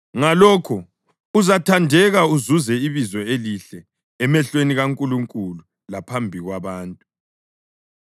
Ngalokho uzathandeka uzuze ibizo elihle emehlweni kaNkulunkulu laphambi kwabantu.